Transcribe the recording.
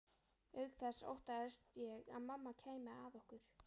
Auk þess óttaðist ég að mamma kæmi að okkur.